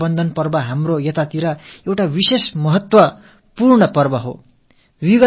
ரக்ஷா பந்தன் பண்டிகை மிகவும் மகத்துவம் நிறைந்த ஒன்று